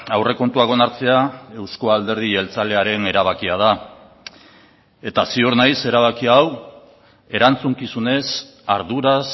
aurrekontuak onartzea euzko alderdi jeltzalearen erabakia da eta ziur naiz erabaki hau erantzukizunez arduraz